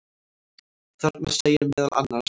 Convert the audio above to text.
Þarna segir meðal annars: